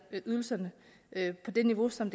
ydelserne på det niveau som